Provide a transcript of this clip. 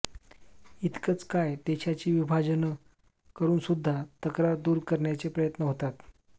इतकंच काय देशाची विभाजनं करूनसुद्धा तक्रार दूर करण्याचे प्रयत्न होतात